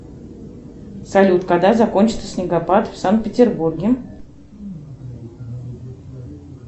салют когда закончится снегопад в санкт петербурге